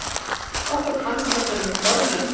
Okkur fannst þetta fremur formlegt.